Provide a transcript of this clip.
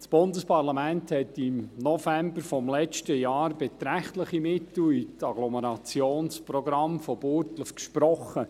Das Bundesparlament hat im November letzten Jahres beträchtliche Mittel für die Agglomerationsprogramme von Burgdorf gesprochen.